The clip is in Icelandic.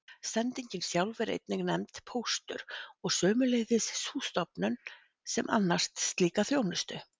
Sendingin sjálf er einnig nefnd póstur og sömuleiðis sú stofnun sem annast slíka þjónustu.